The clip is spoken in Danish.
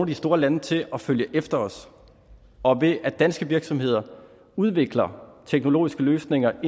de store lande til at følge efter os og ved at danske virksomheder udvikler teknologiske løsninger